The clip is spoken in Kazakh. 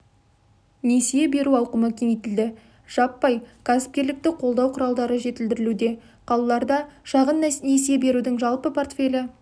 несие беру ауқымы кеңейтілді жаппай кәсіпкерлікті қолдау құралдары жетілдірілуде қалаларда шағын несие берудің жалпы портфелі